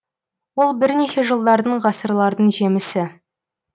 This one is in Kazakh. ол бірнеше жылдардың ғасырлардың жемісі